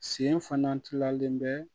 Sen fana tilalen bɛ